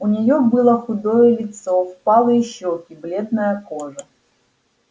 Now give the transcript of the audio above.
у нее было худое лицо впалые щеки бледная кожа